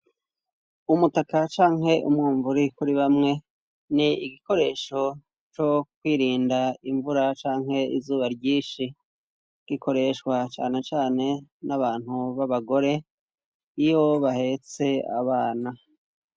Umutaka canke umwunvure kuri bamwe n'igikoresho co kwirinda invura canke izuba ryinshi, gikoreshwa cane cane n'abantu b'abagore iyo bahetse abana.